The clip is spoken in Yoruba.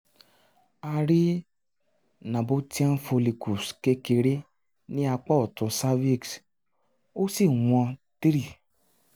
a rí nabothian follicles kékeré ni apá otun cervix ó sì wọn 3